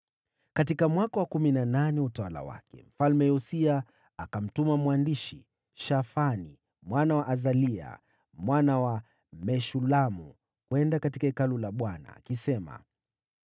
Katika mwaka wa kumi na nane wa utawala wake, Mfalme Yosia akamtuma mwandishi Shafani mwana wa Azalia, mwana wa Meshulamu, kwenda katika Hekalu la Bwana . Akasema: